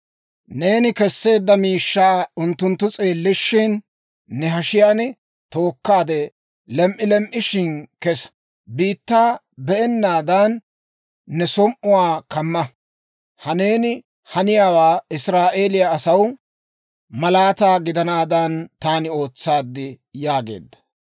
Neeni kesseedda miishshaa unttunttu s'eellishshin, ne hashiyaan tookkaade, lem"i lem"ishin kessa. Biittaa be'ennaadan, ne som"uwaa kamma. Ha neeni haniyaawe Israa'eeliyaa asaw malaataa gidanaadan, taani ootsaad» yaageedda.